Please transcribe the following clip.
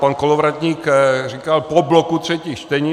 Pan Kolovratník říkal po bloku třetích čtení.